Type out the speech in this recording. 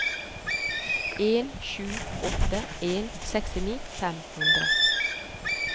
en sju åtte en sekstini fem hundre